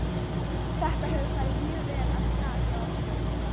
Þetta hefur farið mjög vel af stað hjá okkur.